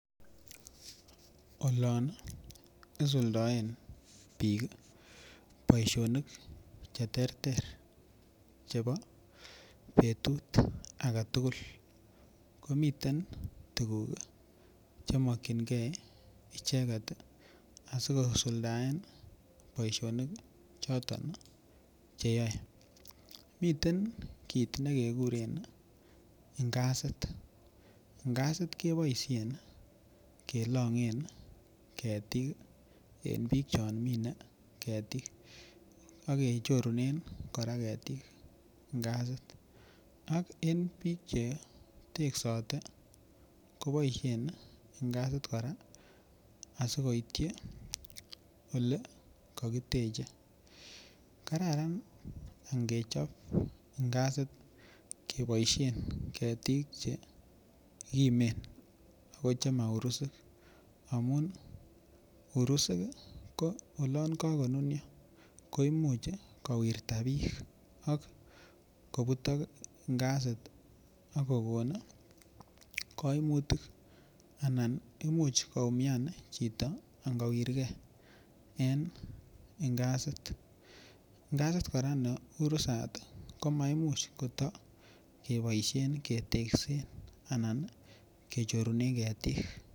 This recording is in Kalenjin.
Isuldaen biik boisionik che terter chebo betut agetugul. Komiten tuguk chemakyinge icheget asigosuldaen boisinik choton che yoe. Miten kit nekeguren ingasit. Ingasit keboisien kolongen ketik en biik choton mine ketik ak kechorunen kora ketik ngasit ak en biik cheteksote koboisien ngasit kora asikoityi olekakiteche. Kararan angechop ingasit keboisien ketik chekimen ago chemaurusik amun urusuk ko olon kagonunio koimuch kowirta biik ak kobutok ngasit ak kogon kaimutik anan imuch koumian chito angowirge en ingasit. Ngasit kora ne urusat komaimuch kotakeboisien keteksen anan kechorunen ketiik.